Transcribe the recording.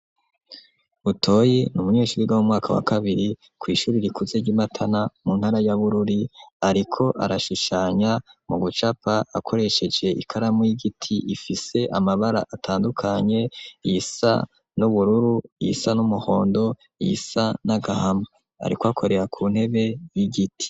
Butoyi n'umunyeshure wo mu mwaka wakabiri kw'ishure rikuze ry'imatana mu ntara ya bururi, ariko arashushanya mu gucapa akoresheje ikaramu y'igiti ifise amabara atandukanye isa n'ubururu isa n'umuhondo isa n'agahama, ariko akorera kuntebe y'igiti.